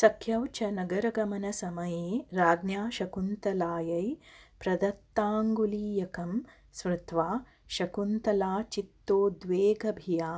सख्यौ च नगरगमनसमये राज्ञा शकुन्तलायै प्रदत्ताङ्गुलीयकं स्मृत्वा शकुन्तलाचित्तोद्वेगभिया